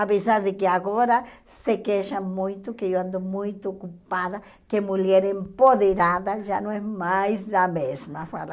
Apesar de que agora se queixam muito que eu ando muito ocupada, que mulher empoderada já não é mais a mesma falam.